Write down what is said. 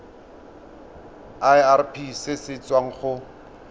irp se se tswang go